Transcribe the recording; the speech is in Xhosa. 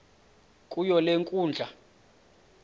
kuyo le nkundla